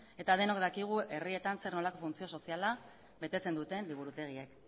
eta denok dakigu herrietan zer nolako funtzio soziala betetzen duten liburutegiek